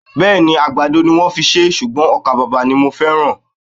Bẹ́ẹ̀ni, àgbàdo ni wón fi ṣé ṣùgbọ́n ọkà bàbà ni mo feran